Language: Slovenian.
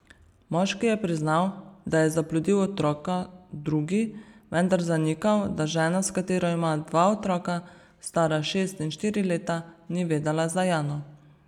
Moški je priznal, da je zaplodil otroka drugi, vendar zanikal, da žena, s katero ima dva otroka, stara šest in štiri leta, ni vedela za Jano.